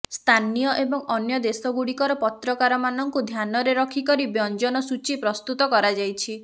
ସ୍ଥାନୀୟ ଏବଂ ଅନ୍ୟ ଦେଶଗୁଡ଼ିକର ପତ୍ରକାରମାନଙ୍କୁ ଧ୍ୟାନରେ ରଖିକରି ବ୍ୟଞ୍ଜନ ସୂଚୀ ପ୍ରସ୍ତୁତ କରାଯାଇଛି